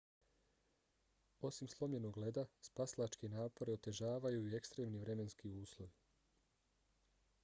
osim slomljenog leda spasilačke napore otežavaju i ekstremni vremenski uslovi